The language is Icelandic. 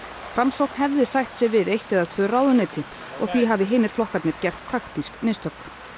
framsókn hefði sætt sig við eitt eða tvö ráðuneyti og því hafi hinir flokkarnir gert taktísk mistök